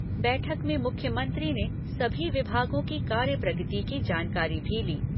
बैठक में मुख्यमंत्री ने सभी विभागों की कार्य प्रगति की जानकारी भी ली।